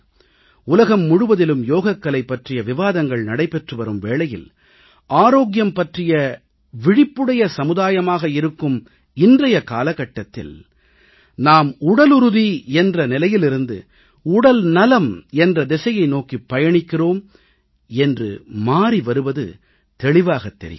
உலகம் முழுவதிலும் யோகக்கலை பற்றிய விவாதங்கள் நடைபெற்றுவரும் வேளையில் ஆரோக்கியம் பற்றிய விழிப்புடைய சமுதாயமாக இருக்கும் இன்றைய காலகட்டத்தில் நாம் உடலுறுதி என்ற நிலையிலிருந்து உடல்நலம் என்ற திசையை நோக்கிப் பயணிக்கிறோம் என்று மாறி வருவது தெளிவாகத் தெரிகிறது